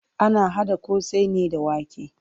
Ana haɗa ƙosai ne da wake.